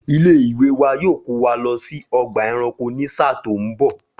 Ilé ìwé wa yoo kò wa lọ sí ọgbà ẹranko ni ṣáá tó ń bọ̀